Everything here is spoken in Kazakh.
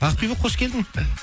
ақбибі қош келдің